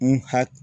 N ha